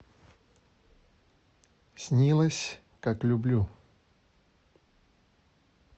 снилось как люблю